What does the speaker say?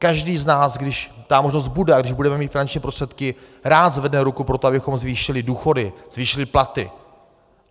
Každý z nás, když ta možnost bude a když budeme mít finanční prostředky, rád zvedne ruku pro to, abychom zvýšili důchody, zvýšili platy.